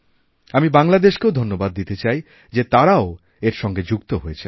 আমি বাংলাদেশকেও ধন্যবাদ দিতে চাই যেতারাও এর সঙ্গে যুক্ত হয়েছেন